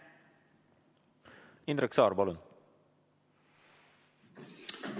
Indrek Saar, palun!